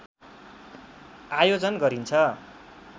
आयोजन गरिन्छ